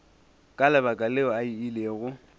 ka lebaka leo a ilego